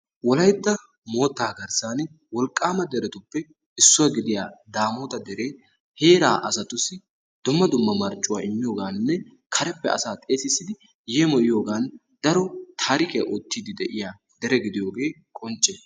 Wolayttaa moottaa garssan wolqqaama deretuppe gidiyaa daamota deree heeraa asatussi dumma dumma marccuwaa immiyooganne karepe asaa xeesidi yeemiyiidi diyoogan daro tarikiyaa oottidi de'iyaa dere gidiyoogee qoncce.